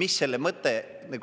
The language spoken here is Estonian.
Mis selle mõte